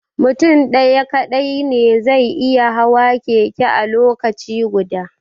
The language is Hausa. Mutum ɗaya kaɗai ne zai iya hawa keke a lokaci guda